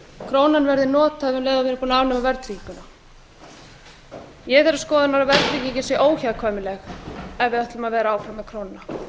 krónan verði nothæf um leið og við erum búin að afnema verðtrygginguna ég er þeirrar skoðunar að verðtryggingin sé óhjákvæmileg ef við ætlum að vera áfram með krónuna